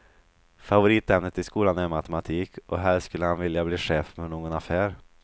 Favoritämnet i skolan är matematik och helst skulle han vilja bli chef för någon affär.